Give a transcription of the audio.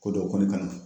Ko dɔ kɔni ka na